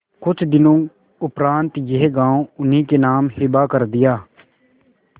कुछ दिनों उपरांत यह गॉँव उन्हीं के नाम हिब्बा कर दिया